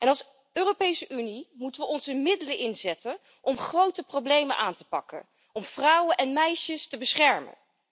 Als Europese Unie moeten we onze middelen inzetten om grote problemen aan te pakken, om vrouwen en meisjes te beschermen.